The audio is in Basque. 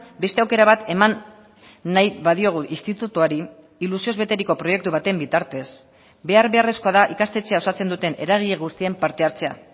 beste aukera bat eman nahi badiogu institutuari ilusioz beteriko proiektu baten bitartez behar beharrezkoa da ikastetxea osatzen duten eragile guztien parte hartzea